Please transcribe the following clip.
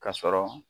Ka sɔrɔ